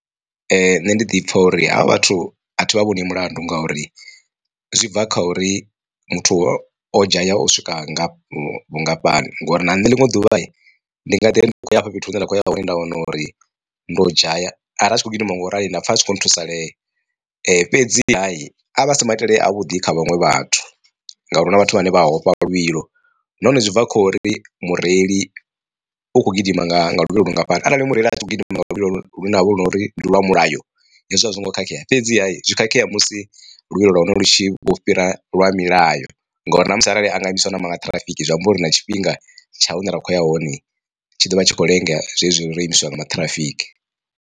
Nṋe ndi ḓi pfha uri havha vhathu athi vha vhoni mulandu ngauri zwi bva kha uri muthu o o dzhaya u swika nga vhungafhani ngori na nṋe ḽiṅwe ḓuvha ndi nga ḓiri ndi khou ya hafha fhethu hune nda kho ya hone nda wana uri ndo dzhaya ari a tshi kho gidima nga u rali nda pfha a tshi kho thusalea. Fhedziha asi maitele a vhuḓi kha vhaṅwe vhathu ngauri huna vhathu vhane vha hafha luvhilo nahone zwi bva kho ri mureili u kho gidima nga luvhilo lungafhani arali mureili a tshi kho gidima nga luvhilo lune lwavha lu na uri ndi lwa mulayo hezwi a zwongo khakhea fhedziha zwi khakhea musi luvhilo lwahone lu tshi vho fhira lwa milayo ngori na musi arali anga imiswa na maṱhirafiki zwi amba uri na tshifhinga tsha hune ra kho ya hone tshi dovha tshi kho lenga zwezwi ro imiswa nga maṱhirafiki.